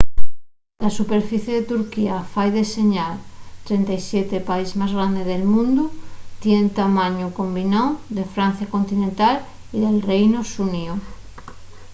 la superficie de turquía fai que seya'l 37u país más grande del mundu tien el tamañu combináu de francia continental y del reinu xuníu